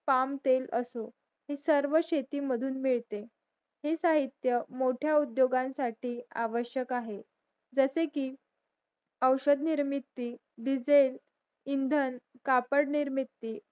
पामतेल असो सर्व शेती मधून मिळते हे साहित्य मोट्या उद्योगांसाठी आवश्यक आहे जसे कि अवषध निर्मिती डीझेल इंधन कापड निर्मिती